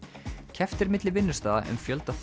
keppt er milli vinnustaða um fjölda